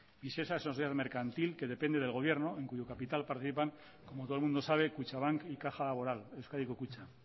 visesa es una sociedad mercantil que depende del gobierno en cuyo capital participan como todo el mundo sabe kutxabank y caja laboral euskadiko kutxa